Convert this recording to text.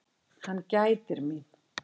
Hann gætir mín.